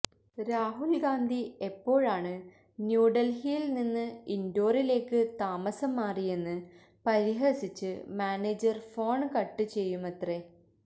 രാഹുല് ഗാന്ധി എപ്പോഴാണ് ന്യൂഡല്ഹിയില് നിന്ന് ഇന്ഡോറിലേക്ക് താമസം മാറിയെന്ന് പരിഹസിച്ച് മാനേജര് ഫോണ് കട്ട് ചെയ്യുമത്രേ